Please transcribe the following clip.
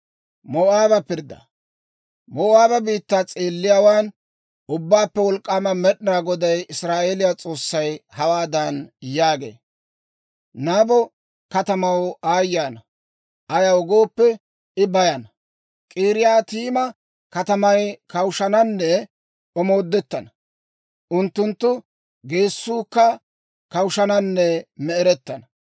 Moo'aaba biittaa s'eelliyaawaan Ubbaappe Wolk'k'aama Med'inaa Goday, Israa'eeliyaa S'oossay hawaadan yaagee; «Nabo katamaw aayye ana! Ayaw gooppe, I bayana. K'iriyaatayima katamay kawushshananne omoodettana; unttunttu geessuukka kawushshananne me"erettana.